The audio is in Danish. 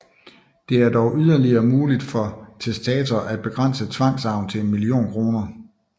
Det er dog yderligere muligt for testator at begrænse tvangsarven til en million kr